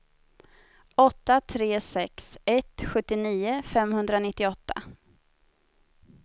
åtta tre sex ett sjuttionio femhundranittioåtta